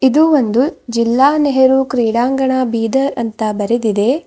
ಇದು ಒಂದು ಜಿಲ್ಲಾ ನೆಹರು ಕ್ರೀಡಾಂಗಣ ಬೀದರ್ ಅಂತ ಬರೆದಿದೆ.